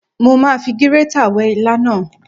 Mo ma fi gírétà wẹ́ ilá náà.